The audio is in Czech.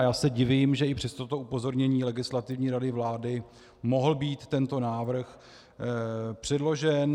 A já se divím, že i přes toto upozornění Legislativní rady vlády mohl být tento návrh předložen.